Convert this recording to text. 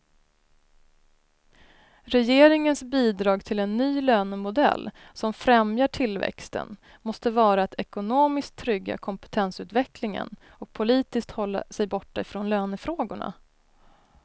Regeringens bidrag till en ny lönemodell som främjar tillväxten måste vara att ekonomiskt trygga kompetensutvecklingen och politiskt hålla sig borta från lönefrågorna.